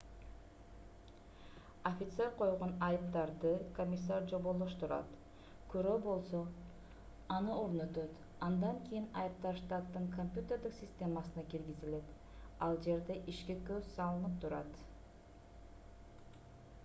офицер койгон айыптарды комиссар жоболоштурат күрөө болсо аны орнотот андан кийин айыптар штаттын компьютердик системасына киргизилет ал жерде ишке көз салынып турат